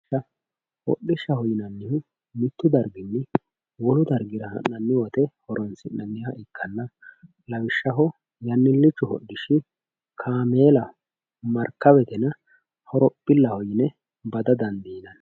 Hodhishshaho yinannihu mitu darginni wolu dargira ha'nanni woyte horonsi'nanniha ikkanna lawishshaho yannilichu hodhishshi kaameelaho marikawetenna horophilaho yine bada dandiinanni.